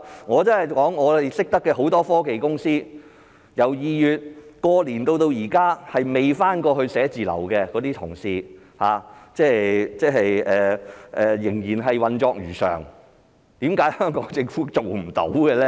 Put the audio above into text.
我所認識很多科技公司，由2月過年至今沒有返回辦公室工作的同事，仍然運作如常，為何香港政府做不到呢？